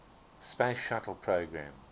space shuttle program